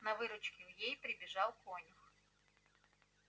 на выручку ей прибежал конюх